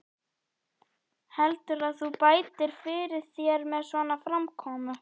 Heldurðu að þú bætir fyrir þér með svona framkomu?